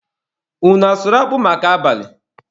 Unu asụrụ akpụ maka abalị?